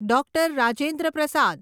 ડૉ. Rajendra પ્રસાદ